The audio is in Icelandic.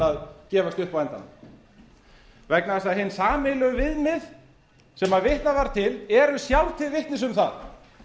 að gefast upp á endanum vegna þess að hin sameiginlegu viðmið sem vitnað var til eru sjálf til vitnis um það